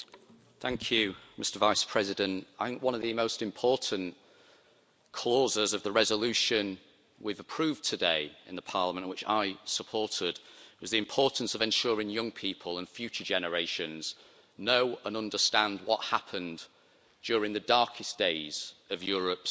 Mr President, I think one of the most important clauses of the resolution we've approved today in the Parliament, and which I supported, is the importance of ensuring young people and future generations know and understand what happened during the darkest days of Europe's past.